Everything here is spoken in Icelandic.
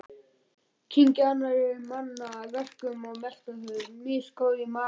Kyngja annarra manna verkum og melta þau, misgóð í maga.